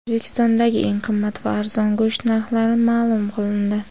O‘zbekistondagi eng qimmat va arzon go‘sht narxlari ma’lum qilindi.